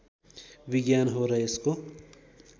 विज्ञान हो र यसको